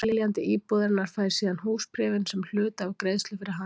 Seljandi íbúðarinnar fær síðan húsbréfin sem hluta af greiðslu fyrir hana.